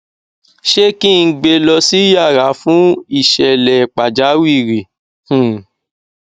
ṣé kí n gbe lọ sí yàrà fún ìṣẹlẹ pàjáwìrì um